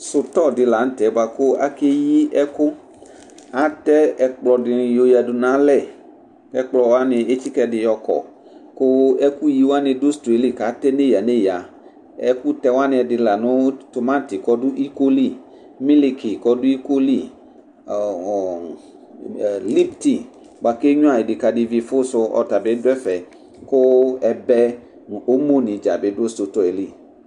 Sutɔ di la nu tɛ buaku akeyi ɛku atɛ ɛkplɔ dini yɔyadu nu alɛ ɛkplɔwani etsika ɛdi yɔ kɔ ku ɛkuyiwani du sutɔ yɛ li ku atɛ neya neya ɛku tɛwani ɛdini la nu tɛ timati ku ɔdu iko li miliki ku ɔdu iko li lipti bua ku enyuia idikadi vifu su ɔtabi du ɛfɛ ku ɛbɛ nu omo ni dza atabi du sutɔ yɛ li